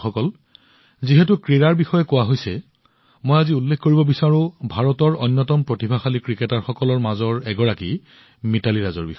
বন্ধুসকল ক্ৰীড়াৰ কথা চলি থকাৰ সময়ত মই আজি উল্লেখ কৰিব বিচাৰো ভাৰতৰ অন্যতম প্ৰতিভাশালী ক্ৰিকেটাৰ তেওঁলোকৰ মাজৰ এগৰাকী মিতালী ৰাজ